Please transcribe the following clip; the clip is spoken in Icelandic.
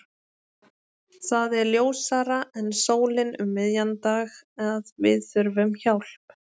Það er ljósara en sólin um miðjan dag að við þurfum hjálp.